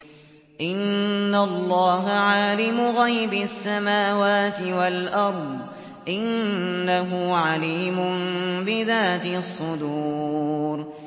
إِنَّ اللَّهَ عَالِمُ غَيْبِ السَّمَاوَاتِ وَالْأَرْضِ ۚ إِنَّهُ عَلِيمٌ بِذَاتِ الصُّدُورِ